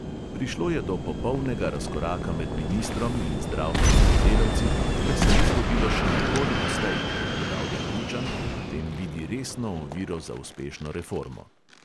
"Prišlo je do popolnega razkoraka med ministrom in zdravstvenimi delavci, kar se ni zgodilo še nikoli doslej," ugotavlja bručan in v tem vidi resno oviro za uspešno reformo.